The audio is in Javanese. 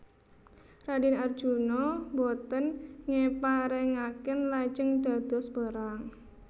Raden Arjuna boten ngeparengaken lajeng dados perang